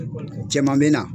Cɛman bɛ na.